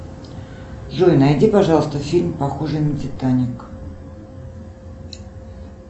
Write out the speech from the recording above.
джой найди пожалуйста фильм похожий на титаник